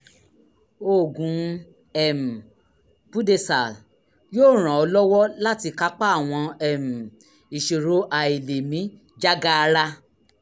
oògùn um budesal yóò ràn ọ́ lọ́wọ́ láti kápá àwọn um ìṣòro àìlèmí jágaara